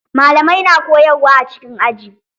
Malamai na koyarwa a cikin aji.